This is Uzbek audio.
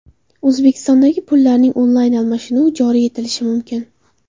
O‘zbekistonda pullarning onlayn almashinuvi joriy etilishi mumkin.